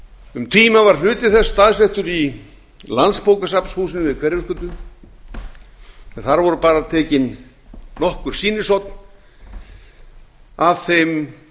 um tíma var hluti þess staðsettur í landsbókasafnshúsinu við hverfisgötu en þar voru bara tekin nokkur sýnishorn af þeim